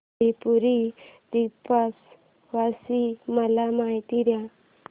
त्रिपुरी दीपोत्सवाची मला माहिती दे